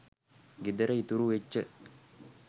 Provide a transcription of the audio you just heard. ගෙදර ඉතුරු වෙච්ච